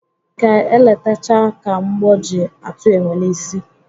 Ka eletachaa ka mgbọ ji atụ enwe n'isi.